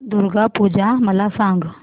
दुर्गा पूजा मला सांग